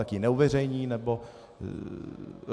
tak ji neuveřejní - nebo...?